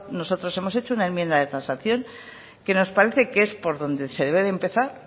nosotros hemos hecho una enmienda de transacción que nos parece que es por donde se debe empezar